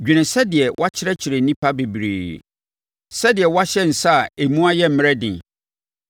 Dwene sɛdeɛ wakyerɛkyerɛ nnipa bebree, sɛdeɛ woahyɛ nsa a emu ayɛ mmerɛ den.